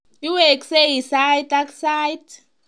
Iweksei sait ak sait.